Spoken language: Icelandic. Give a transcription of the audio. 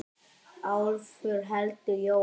Álfur heldur jól.